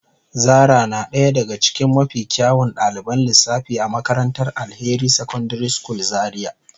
Zara na daya daga cikin mafi kyawun daliban lissafi a makarantar Alheri secondary school Zaria.